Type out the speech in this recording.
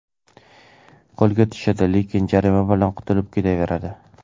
Qo‘lga tushadi, lekin jarima bilan qutulib ketaveradi.